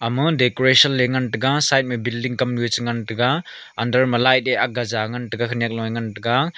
ama decoration le ngan taiga side me building kamnu e chingan taiga under ma light e akkgeja ngan taiga khenyak loe ngan taiga.